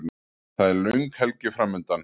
Það er löng helgi framundan.